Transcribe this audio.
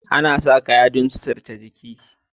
Anasa kayan don sutunce jiki